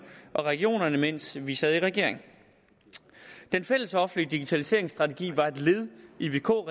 og regionerne mens vi sad i regering den fællesoffentlige digitaliseringsstrategi var et led i vk